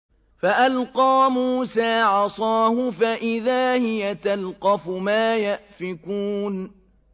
فَأَلْقَىٰ مُوسَىٰ عَصَاهُ فَإِذَا هِيَ تَلْقَفُ مَا يَأْفِكُونَ